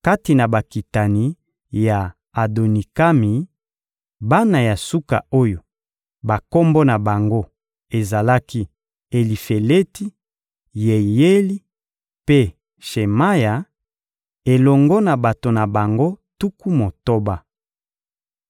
Kati na bakitani ya Adonikami: bana ya suka oyo bakombo na bango ezalaki Elifeleti, Yeyeli mpe Shemaya, elongo na bato na bango tuku motoba.